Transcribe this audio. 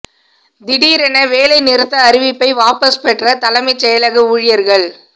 திடீரென வேலை நிறுத்த அறிவிப்பை வாபஸ் பெற்ற தலைமை செயலக ஊழியர்கள்